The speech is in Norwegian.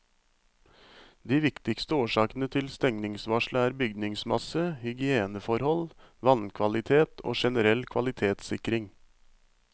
De viktigste årsakene til stengningsvarselet er bygningsmasse, hygieneforhold, vannkvalitet og generell kvalitetssikring.